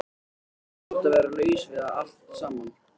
Eins gott að vera laus við það allt saman.